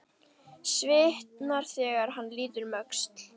Svitnar þegar hann lítur um öxl.